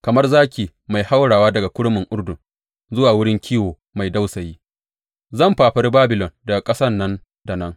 Kamar zaki mai haurawa daga kurmin Urdun zuwa wurin kiwo mai dausayi, zan fafare Babilon daga ƙasan nan da nan.